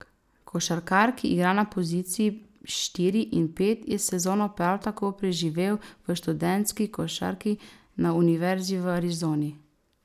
Košarkar, ki igra na poziciji štiri in pet, je sezono prav tako preživel v študentski košarki, na univerzi v Arizoni.